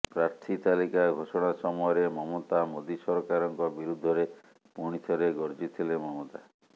ପ୍ରାର୍ଥୀ ତାଲିକା ଘୋଷଣା ସମୟରେ ମମତା ମୋଦି ସରକାରଙ୍କ ବିରୁଦ୍ଧରେ ପୁଣିଥରେ ଗର୍ଜିଥିଲେ ମମତା